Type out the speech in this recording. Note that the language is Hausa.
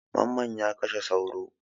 Mamman ya kashe sauro.